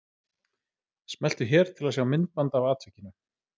Smeltu hér til að sjá myndband af atvikinu